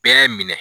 Bɛɛ minɛ